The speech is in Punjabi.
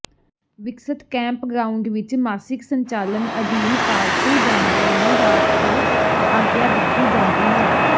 ਵਿਕਸਤ ਕੈਂਪਗ੍ਰਾਉਂਡ ਵਿੱਚ ਮਾਸਿਕ ਸੰਚਾਲਨ ਅਧੀਨ ਪਾਲਤੂ ਜਾਨਵਰਾਂ ਨੂੰ ਰਾਤ ਭਰ ਆਗਿਆ ਦਿੱਤੀ ਜਾਂਦੀ ਹੈ